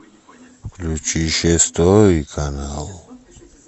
включи шестой канал